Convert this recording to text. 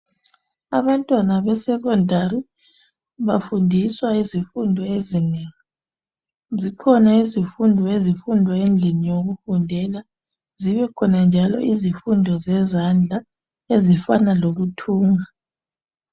Abantwana besikolo lezinga eliphezulu, bafundiswa izifundo ezinengi. Zikhona izifundo ezifundwa ezindlini zokufundela, zibekhona njalo izifundo zemisebenzi yezandla ezifana lokuthunga.